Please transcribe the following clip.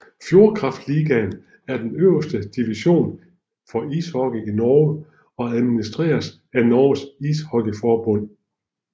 Fjordkraftligaen er den øverste division for ishockey i Norge og administreres af Norges Ishockeyforbund